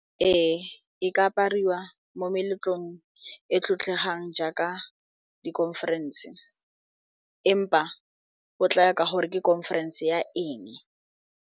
Ee, e ka apariwa mo meletlong e tlotlegang jaaka di-conference empa o tlaya ka gore ke conference ya eng.